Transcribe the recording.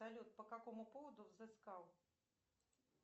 салют по какому поводу взыскал